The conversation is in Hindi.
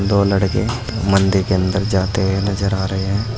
दो लड़के मंदिर के अंदर जाते हुए नजर आ रहे हैं।